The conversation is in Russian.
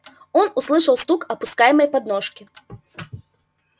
он услышал стук опускаемой подножки